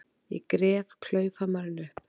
Ég gref klaufhamarinn upp.